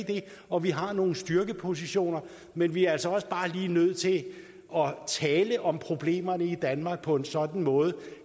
og vi har nogle styrkepositioner men vi er altså også bare lige nødt til at tale om problemerne i danmark på en sådan måde